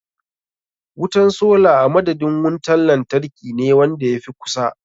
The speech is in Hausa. Wutan sola a madadin wuntar lantarkine wanda ya fi kusa.